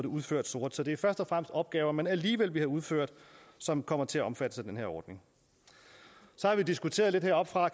udført sort så det er først og fremmest opgaver man alligevel ville have udført som kommer til at blive omfattet af den her ordning så har vi diskuterede lidt heroppefra at